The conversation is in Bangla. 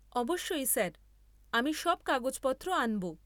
অবশ্যই স্যার, আমি সব কাগজপত্র আনব।